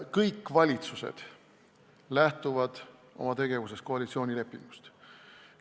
Kõik valitsused lähtuvad oma tegevuses koalitsioonilepingust.